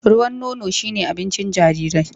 Ruwan nono shi ne abincin jarirai.